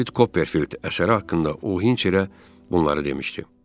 Devid Kopperfild əsəri haqqında o Hinçerə bunları demişdi.